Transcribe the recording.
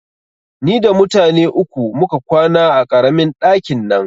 Ni da mutane uku muka kwana a ƙaramin ɗakin nan